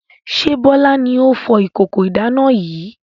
Ṣé Bọlá ni ó fọ ìkókó ìdáná yìí?